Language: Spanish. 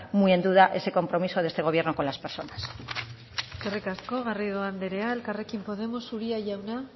muy en duda ese compromiso de este gobierno con las personas eskerrik asko garrido andrea elkarrekin podemos uria jauna